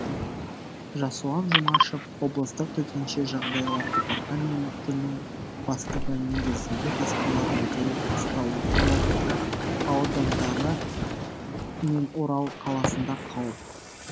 жасұлан жұмашев облыстық төтенше жағдайлар департаментінің бастығы негізінде тасқала бәйтерек қазталовка аудандары мен орал қаласында қауіп